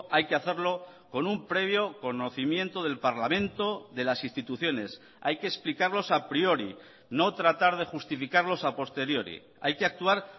hay que hacerlo con un previo conocimiento del parlamento de las instituciones hay que explicarlos a priori no tratar de justificarlos a posteriori hay que actuar